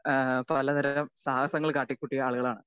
Speaker 2 അഹ് പലതരം സാഹസങ്ങൾ കാട്ടികൂട്ടിയാ ആളുകളാണു.